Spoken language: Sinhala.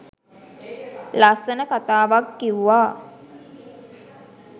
ලස්සන කතාවක් කිව්වා.